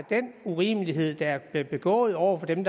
den urimelighed der bliver begået over for dem